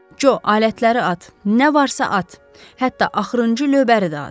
Co, alətləri at, nə varsa at, hətta axırıncı löbəri də at.